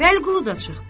Vəliqulu da çıxdı.